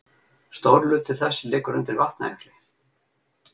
Stór hluti þess liggur undir Vatnajökli.